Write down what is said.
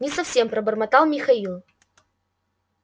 не совсем пробормотал михаил